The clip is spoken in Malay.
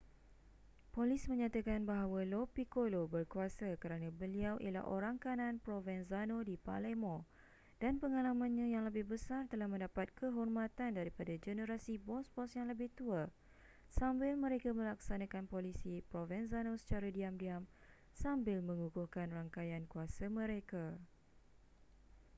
polis menyatakan bahwa lo piccolo berkuasa kerana beliau ialahh orang kanan provenzano di palemo dan pengalamannya yang lebih besar telah mendapat kehormatan daripada generasi bos-bos yang lebih tua sambil mereka melaksanakan polisi provenzano secara diam-diam sambil mengukuhkan rangkaian kuasa mereka